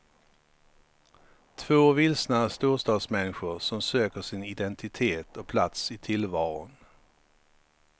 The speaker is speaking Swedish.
Två vilsna storstadsmänniskor som söker sin identitet och plats i tillvaron.